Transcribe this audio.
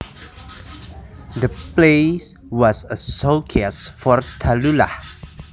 The play was a showcase for Tallulah